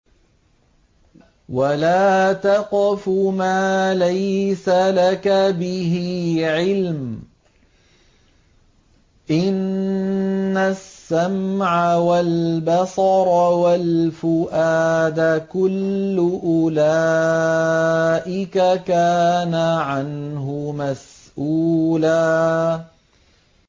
وَلَا تَقْفُ مَا لَيْسَ لَكَ بِهِ عِلْمٌ ۚ إِنَّ السَّمْعَ وَالْبَصَرَ وَالْفُؤَادَ كُلُّ أُولَٰئِكَ كَانَ عَنْهُ مَسْئُولًا